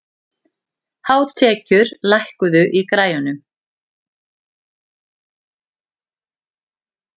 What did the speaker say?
Hárekur, lækkaðu í græjunum.